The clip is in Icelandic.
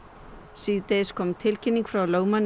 síðdegis kom tilkynning frá lögmanni